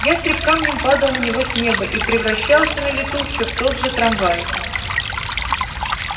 ястреб камнем падал на него с неба и превращался на лету всё в тот же трамвай